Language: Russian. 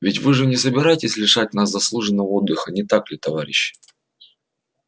ведь вы же не собираетесь лишать нас заслуженного отдыха не так ли товарищи